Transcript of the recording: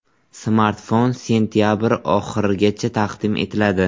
Smartfon sentabr oxirigacha taqdim etiladi.